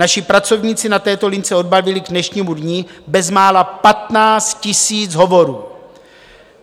Naši pracovníci na této lince odbavili k dnešnímu dni bezmála 15 000 hovorů.